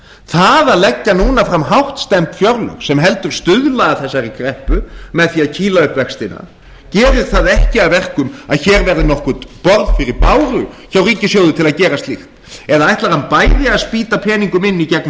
það að leggja núna fram hástemmd fjárlög sem heldur stuðla að þessari kreppu með því að kýla upp vextina gerir það ekki að verkum að hér verði nokkurt borð fyrir báru hjá ríkissjóði til að gera slíkt eða ætlar hann bæði að spýta peningum inn í gegnum